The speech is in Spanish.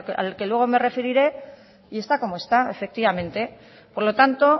al que luego me referiré y está como está efectivamente por lo tanto